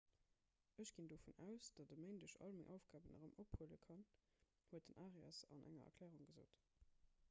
ech ginn dovun aus datt ech e méindeg all meng aufgaben erëm ophuele kann huet den arias an enger erklärung gesot